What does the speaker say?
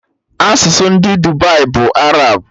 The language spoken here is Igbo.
Asụsụ ndị Dubai bụ Arab